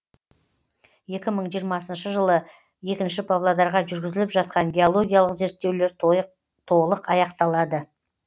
екі мың жиырмасыншы жылы екінші павлодарға жүргізіліп жатқан геологиялық зерттеулер толық аяқталады